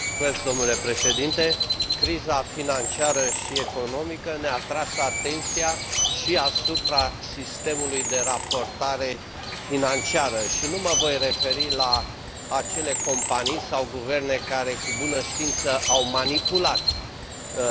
Criza financiară și economică ne a atras atenția și asupra sistemului de raportare financiară și nu mă voi referi la acele companii sau guverne care, cu bună știință, au manipulat raportările financiare.